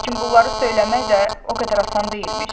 Lakin bunları söyləmək də o qədər asan deyilmiş.